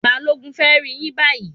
Balogun fẹ rí yín bayi